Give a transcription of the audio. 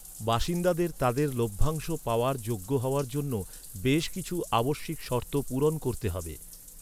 বাসিন্দাদের তাদের লভ্যাংশ পাওয়ার যোগ্য হওয়ার জন্য বেশ কিছু আবশ্যিক শর্ত পূরণ করতে হবে।